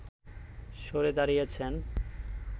সরে দাঁড়িয়েছেন